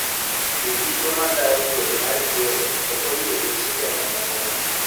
Jodito mag duol matayo yiero okoyie gi chike mamoko go